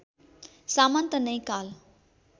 सामन्त नै काल